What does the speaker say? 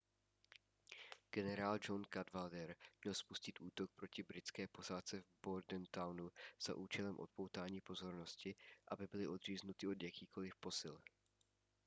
generál john cadwalder měl spustit útok proti britské posádce v bordentownu za účelem odpoutání pozornosti aby byly odříznuty od jakýchkoliv posil